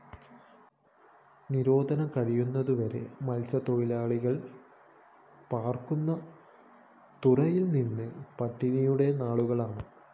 നിരോധനം കഴിയുന്നതുവരെ മല്‍സ്യത്തൊഴിലാളികള്‍ പാര്‍ക്കുന്ന തുറകളില്‍ ഇനി പട്ടിണിയുടെ നാളുകളാണ്